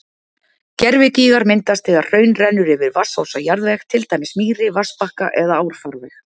Gervigígar myndast þegar hraun rennur yfir vatnsósa jarðveg, til dæmis mýri, vatnsbakka eða árfarveg.